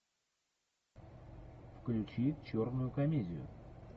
включи черную комедию